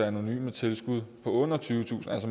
anonyme tilskud på